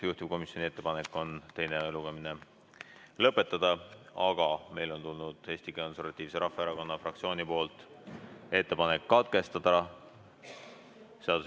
Juhtivkomisjoni ettepanek on eelnõu teine lugemine lõpetada, aga meile on tulnud Eesti Konservatiivse Rahvaerakonna fraktsiooni ettepanek lugemine katkestada.